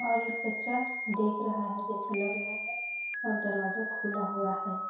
और एक बच्चा देख रहा है जैसे लग रहा है और दरवाजा खुला हुआ है।